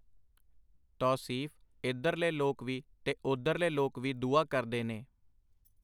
ਤੌਸੀਫ਼ ਇਧਰਲੇ ਲੋਕ ਵੀ ਤੇ ਓਧਰਲੇ ਲੋਕ ਵੀ ਦੁਆ ਕਰਦੇ ਨੇ.